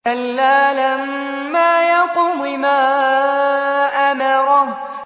كَلَّا لَمَّا يَقْضِ مَا أَمَرَهُ